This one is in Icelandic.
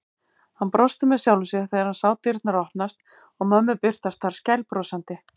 Hann brosti með sjálfum sér þegar hann sá dyrnar opnast og mömmu birtast þar skælbrosandi.